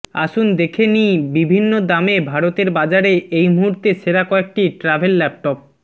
আসুন দেখে নি বিভিন্ন দামে ভারতের বাজারে এই মুহুর্তে সেরা কয়েকটি ট্রাভেল ল্যাপটপ